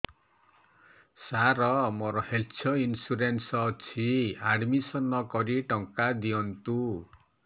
ସାର ମୋର health insurance ଅଛି admission କରି ଟଙ୍କା ଦିଅନ୍ତୁ